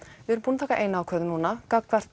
við erum búin að taka eina ákvörðun núna gagnvart